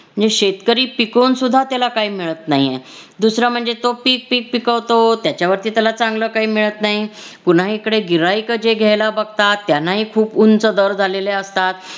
जे शेतकरी पिकवून सुद्धा त्याला काही मिळत नाहीये. दुसरं म्हणजे तो पीक पीक पिकवतो. त्याच्यावरती त्याला चांगलं काही मिळत नाही पुन्हा इकडे गिर्हाइक जे घ्यायला बघतात त्यांनाही खूप उंच दर झालेले असतात.